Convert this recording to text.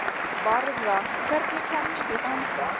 Varða, hvernig kemst ég þangað?